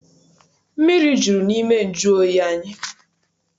Mmiri juru n'ime nju oyi anyị.